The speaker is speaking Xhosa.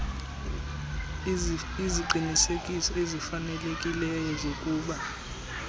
iziqinisekiso ezifanelekileyo zokuba